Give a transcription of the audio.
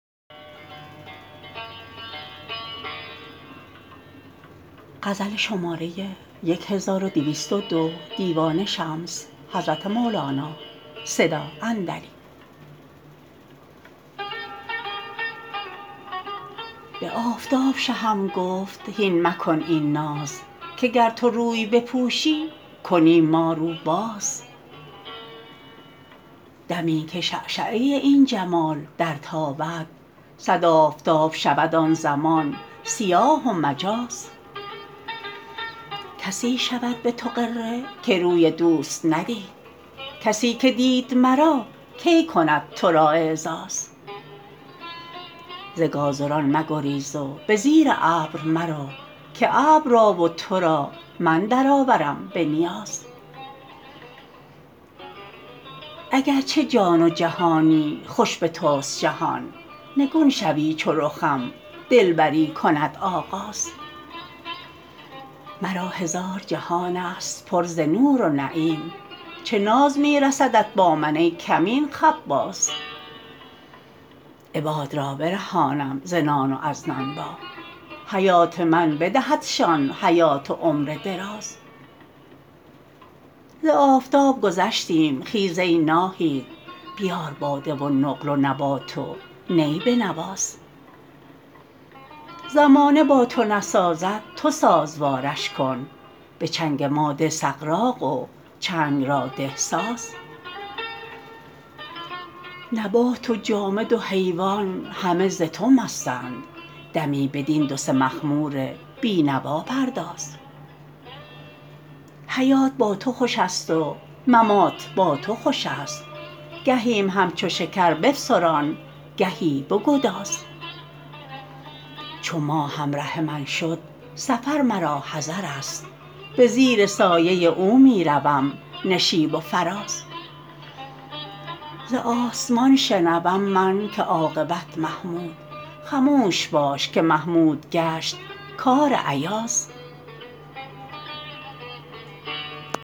به آفتاب شهم گفت هین مکن این ناز که گر تو روی بپوشی کنیم ما رو باز دمی که شعشعه این جمال درتابد صد آفتاب شود آن زمان سیاه و مجاز کسی شود به تو غره که روی دوست ندید کسی که دید مرا کی کند تو را اعزاز ز گازران مگریز و به زیر ابر مرو که ابر را و تو را من درآورم به نیاز اگر چه جان و جهانی خوش به توست جهان نگون شوی چو رخم دلبری کند آغاز مرا هزار جهانست پر ز نور و نعیم چه ناز می رسدت با من ای کمین خباز عباد را برهانم ز نان و از نانبا حیات من بدهدشان حیات و عمر دراز ز آفتاب گذشتیم خیز ای ناهید بیار باده و نقل و نبات و نی بنواز زمانه با تو نسازد تو سازوارش کن به چنگ ما ده سغراق و چنگ را ده ساز نبات و جامد و حیوان همه ز تو مستند دمی بدین دو سه مخمور بی نوا پرداز حیات با تو خوشست و ممات با تو خوشست گهیم همچو شکر بفسران گهی بگداز چو ماه همره من شد سفر مرا حضرست به زیر سایه او می روم نشیب و فراز ز آسمان شنوم من که عاقبت محمود خموش باش که محمود گشت کار ایاز